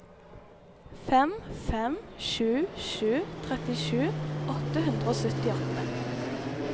fem fem sju sju trettisju åtte hundre og syttiåtte